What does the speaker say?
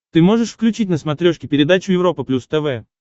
ты можешь включить на смотрешке передачу европа плюс тв